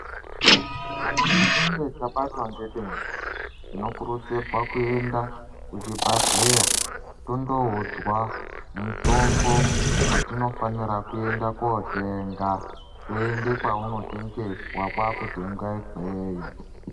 Kana tichinge tabatwa nedenda tinokurudzirwa kuenda kuchibhehleya tondoudzwa mutombo watinofanira kuenda kuwotenga toenda kwaunotengeswa kwakutenga ikweyo.